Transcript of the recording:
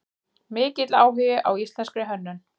Mikill áhugi á íslenskri hönnun